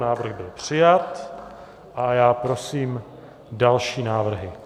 Návrh byl přijat a já prosím další návrhy.